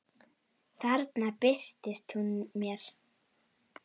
Þarna birtist hún mér.